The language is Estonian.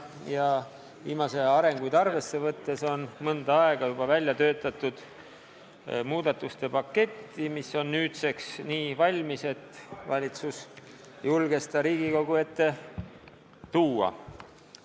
Ja viimase aja arenguid arvesse võttes on juba mõnda aega välja töötatud muudatuste paketti, mis on nüüdseks nii valmis, et valitsus julges selle Riigikogu ette tuua.